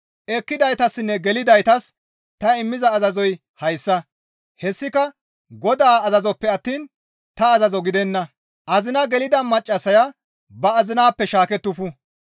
Ekkidaytassinne gelidaytas ta immiza azazoy hayssa; hessika Godaa azazoppe attiin ta azazo gidenna; azina gelida maccassaya ba azinappe shaakettufu.